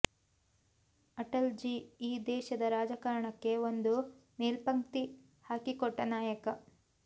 ಅಟಲ್ ಜಿ ಈ ದೇಶದ ರಾಜಕಾರಣಕ್ಕೆ ಒಂದು ಮೇಲ್ಪಂಕ್ತಿ ಹಾಕಿಕೊಟ್ಟ ನಾಯಕ